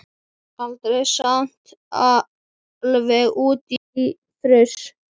Rekst aldrei eitt á annars horn?